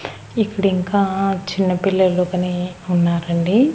ఇక్కడ ఇంకా చిన్న పిల్లలు కానీ ఉన్నారండి.